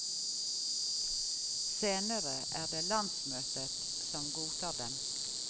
Senere er det landsmøtet som godtar dem.